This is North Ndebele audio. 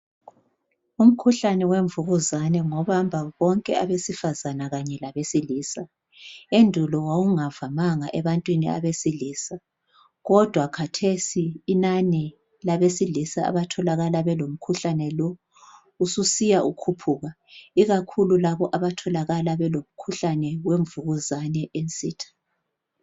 Umkhuhlane wemvukuzane ngobamba bonke abesifazane kanye labesilisa. Endulo wawungavamanga ebantwini abesilisa kodwa khathesi inani labesilisa abatholakala belomkhuhlane lo ususiya ukhuphuka. Ikakhulu labo abatholakala belomkhuhlane wemvukuzane ensitha.